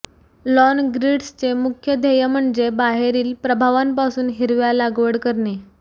lawn ग्रीड्सचे मुख्य ध्येय म्हणजे बाहेरील प्रभावांपासून हिरव्या लागवड करणे